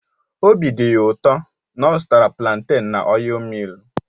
Obi dị ya ụtọ na a zụtara planten na ọil millu